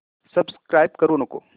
subscribe करू नको